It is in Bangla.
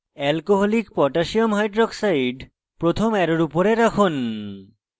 alcoholic potassium hydroxide alc koh প্রথম arrow উপরে রাখুন